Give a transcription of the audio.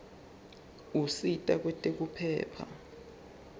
usita kwetekuphepha